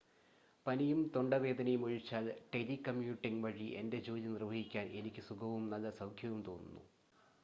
പനിയും തൊണ്ടവേദനയും ഒഴിച്ചാൽ, ടെലികമ്യൂട്ടിംഗ് വഴി എന്റെ ജോലി നിർവഹിക്കാൻ എനിക്ക് സുഖവും നല്ല സൗഖ്യവും തോന്നുന്നു